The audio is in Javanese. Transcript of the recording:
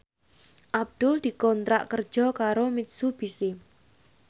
Abdul dikontrak kerja karo Mitsubishi